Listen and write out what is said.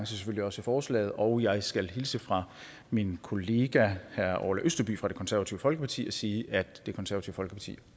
selvfølgelig også forslaget og jeg skal hilse fra min kollega herre orla østerby fra det konservative folkeparti og sige at det konservative folkeparti